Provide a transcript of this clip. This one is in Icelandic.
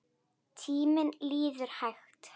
Tíminn líður hægt.